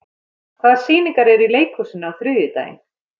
Maj, hvaða sýningar eru í leikhúsinu á þriðjudaginn?